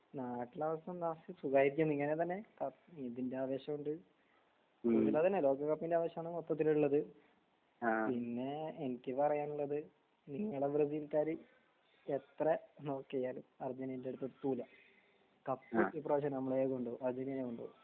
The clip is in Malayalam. നാട്ടിലെ അവസ്ഥ എന്താ സുഖായിരിക്കുന്നു ഇങ്ങനെ തന്നെ ഇതിന്റെ ആവേഷോം ഇണ്ട് പിന്നീട് അതന്നെ ലോക കപ്പിന്റെ ആവേശമാണ് മൊത്തത്തിലുള്ളത്. ആഹ് പിന്നെ എനിക്ക് പറയാനുള്ളത് നിങ്ങടെ ബ്രസീൽക്കാര് എത്ര നോക്കിയാലും അർജന്റീന ന്റെ അവിടുക്ക് എത്തൂല. കപ്പ് ഇപ്രാവശ്യം നമ്മളേ കൊണ്ടോവൂ. അർജന്റീനയേ കൊണ്ടോവൂ.